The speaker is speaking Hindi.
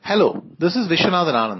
hello this is Viswanathan Anand